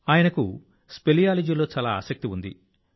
ఆయనకు స్పెలియాలజీలో చాలా ఆసక్తి ఉంది